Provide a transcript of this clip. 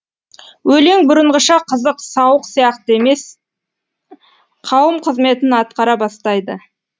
өлең бұрынғыша қызық сауық сияқты емес қауым қызметін атқара бастайды